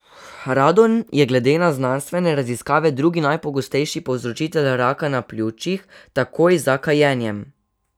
Radon je glede na znanstvene raziskave drugi najpogostejši povzročitelj raka na pljučih, takoj za kajenjem.